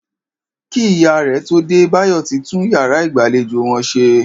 Kí ìyá rè̩ tó dé, Báyò̩ ti tún yàrá ìgbàlejò wo̩n s̩e